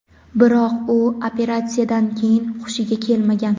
biroq u operatsiyadan keyin xushiga kelmagan.